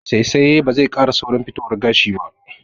Saisaya ba zai ƙara saurin fitowan gashi ba